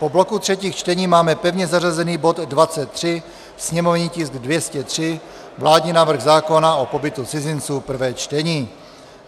Po bloku třetích čtení máme pevně zařazený bod 23, sněmovní tisk 203, vládní návrh zákona o pobytu cizinců, prvé čtení.